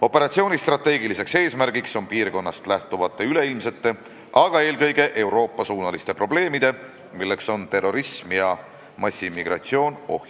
Operatsiooni strateegiline eesmärk on ohjeldada piirkonnast lähtuvaid üleilmseid, eelkõige aga Euroopat ohustavaid probleeme, milleks on terrorism ja massiimmigratsioon.